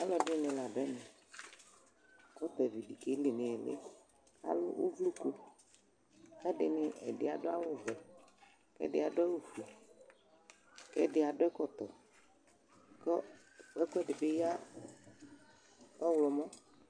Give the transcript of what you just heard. Alʋɛdini ladʋ ɛmɛ, gotadi bi keli nʋ iili, akʋ ʋvlokʋ, kʋ ɛdi adʋ awʋvɛ, kʋ ɛdi adʋ awʋfue, kʋ ɛdi adʋ ɛkɔtɔ, kʋ ɛkʋedibi ya ɔwlɔmɔ